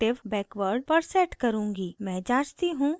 मैं जाँचती हूँ यदि मेरे पास उत्तम interpolation है अतः वह अच्छा है